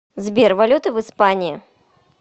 сбер валюта в испании